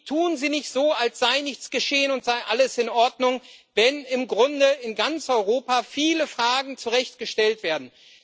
Tun Sie nicht so, als sei nichts geschehen und als sei alles in Ordnung, wenn im Grunde in ganz Europa viele Fragen zu Recht gestellt werden!